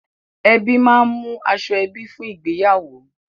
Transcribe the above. Ẹbí máa ń mú aṣoẹbí fún ìgbéyàwó.